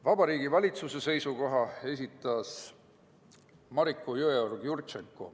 Vabariigi Valitsuse seisukoha esitas Mariko Jõeorg-Jurtšenko.